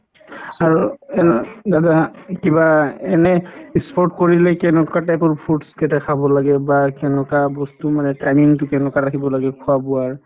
আৰু অ দাদা কিবা এনে ই sport কৰিলে কেনেকুৱা type ৰ foods কেইটা খাব লাগে বা কেনেকুৱা বস্তু মানে training তো কেনেকুৱা ৰাখিব লাগে খোৱা-বোৱাৰ